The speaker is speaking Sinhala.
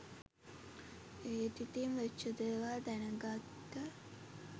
ඒත් ඉතිං වෙච්ච දේවල් දැන ගත්ත